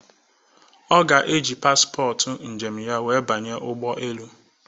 Oga eji paspọtụ njem ya wee banye ụgbọelu